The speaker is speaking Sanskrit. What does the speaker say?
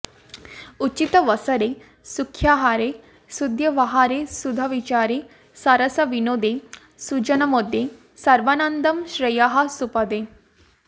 उचितावसरे सुव्याहारे सद्व्यवहारे साधुविचारे सरसविनोदे सुजनामोदे सर्वानन्दे श्रेयःसुपदे